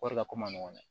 Wari la ko man nɔgɔn dɛ